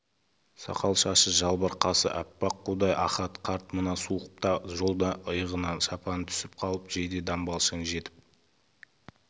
сақал-шашы жалбыр қасы аппақ қудай ахат қарт мына суықта жолда иығынан шапаны түсіп қалып жейде-дамбалшаң жетіп